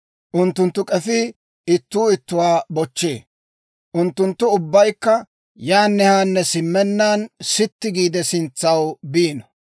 Unttunttu k'efii ittuu ittuwaa bochchee; unttunttu ubbaykka yaanne haanne simmennaan sitti giide sintsaw biino.